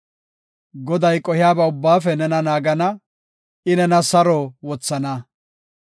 Goday qohiyaba ubbaafe nena naagana; I nena saro wothana.